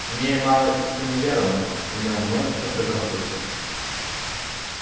имея мало истинной веры он имел множество предрассудков